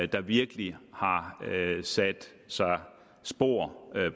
der virkelig har sat sig spor